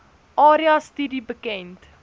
area studie bekend